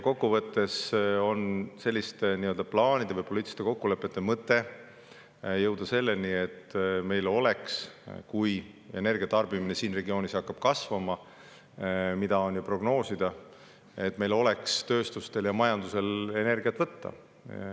Kokkuvõttes on selliste plaanide või poliitiliste kokkulepete mõte jõuda selleni, et kui energia tarbimine siin regioonis hakkab kasvama, mida on ju prognoositud, siis meil oleks tööstustel ja majandusel energiat võtta.